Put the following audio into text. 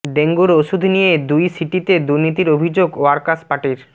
ডেঙ্গুর ওষুধ নিয়ে দুই সিটিতে দুর্নীতির অভিযোগ ওয়ার্কার্স পার্টির